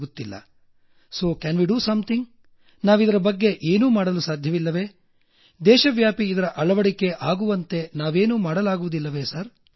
ಹೀಗಾಗಿ ನಾವು ಇದಕ್ಕೆ ಏನಾದರೂ ಮಾಡಲು ಸಾಧ್ಯವೇ ನಾವಿದರ ಬಗ್ಗೆ ಏನೂ ಮಾಡಲು ಸಾಧ್ಯವಿಲ್ಲವೇ ದೇಶವ್ಯಾಪಿ ಇದರ ಅಳವಡಿಕೆ ಆಗುವಂತೆ ನಾವೇನೂ ಮಾಡಲಾಗುವುದಿಲ್ಲವೇ ಸಾರ್